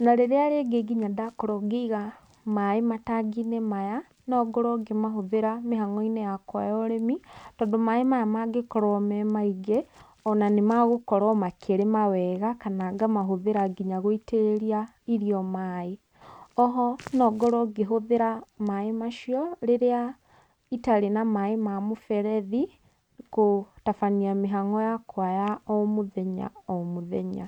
na rĩrĩa rĩngĩ nginya ndakorwo ngĩiga maaĩ matangi-inĩ maya, no ngorwo ngĩmahũthĩra mĩhang'o-inĩ yakwa ya ũrĩmi. Tondũ maaĩ maya mangĩkorwo me maingĩ ona nĩ magũkorwo makĩrĩma wega, kana ngamahũthĩra nginya gũitĩrĩria irio maaĩ. Oho, no ngorwo ngĩhũthĩra maaĩ macio rĩrĩa itarĩ na maaĩ ma mũberethi kũtabania mĩhang'o yakwa ya o mũthenya o mũthenya.